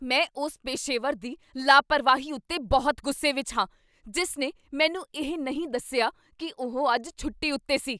ਮੈਂ ਉਸ ਪੇਸ਼ੇਵਰ ਦੀ ਲਾਪਰਵਾਹੀ ਉੱਤੇ ਬਹੁਤ ਗੁੱਸੇ ਵਿੱਚ ਹਾਂ ਜਿਸ ਨੇ ਮੈਨੂੰ ਇਹ ਨਹੀਂ ਦੱਸਿਆ ਕੀ ਉਹ ਅੱਜ ਛੁੱਟੀ ਉੱਤੇ ਸੀ।